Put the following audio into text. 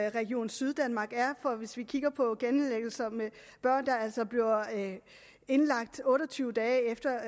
i region syddanmark hvis vi kigger på genindlæggelser med børn der bliver indlagt senest otte og tyve dage efter